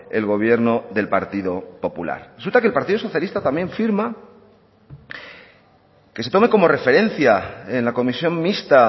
el gobierno del partido popular resulta que el partido socialista también firma que se tome como referencia en la comisión mixta